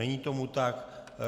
Není tomu tak.